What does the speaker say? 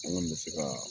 An kɔni bɛ se ka